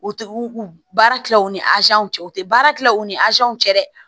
U tɛ u baara tila u ni cɛ u tɛ baara tila u ni cɛ dɛ